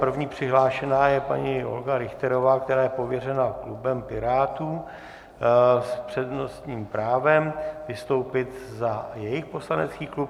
První přihlášená je paní Olga Richterová, která je pověřena klubem Pirátů s přednostním právem vystoupit za jejich poslanecký klub.